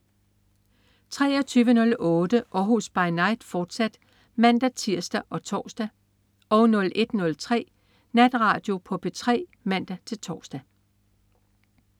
23.08 Århus By Night, fortsat (man-tirs og tors) 01.03 Natradio på P3 (man-tors)